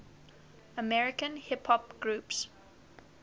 american hip hop groups